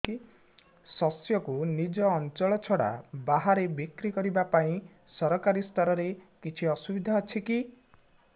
ଶସ୍ୟକୁ ନିଜ ଅଞ୍ଚଳ ଛଡା ବାହାରେ ବିକ୍ରି କରିବା ପାଇଁ ସରକାରୀ ସ୍ତରରେ କିଛି ସୁବିଧା ଅଛି କି